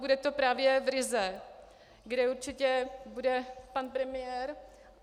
Bude to právě v Rize, kde určitě bude pan premiér.